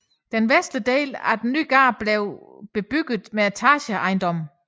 Den vestlige del af den nye gade blev bebygget med etageejendomme